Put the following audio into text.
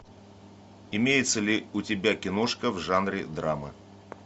имеется ли у тебя киношка в жанре драмы